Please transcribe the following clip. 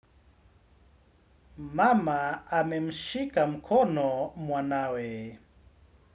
Mama amemshika mkono mwanawe.